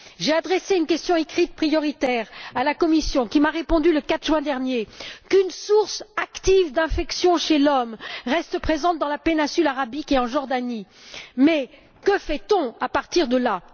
J'ai adressé une question écrite prioritaire à la Commission, qui m'a répondu le 4 juin dernier qu'une source active d'infection chez l'homme restait présente dans la péninsule arabique et en Jordanie. Mais que fait on à partir de là?